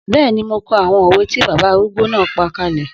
Bẹ́ẹ̀ni, mo kọ àwọn òwe tí bàbá arúgbó náà pa kalẹ̀